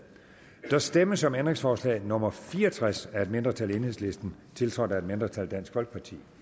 der stemmes om ændringsforslag nummer fire og tres af et mindretal tiltrådt af et mindretal